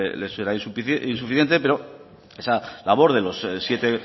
le será insuficiente pero esa labor de los siete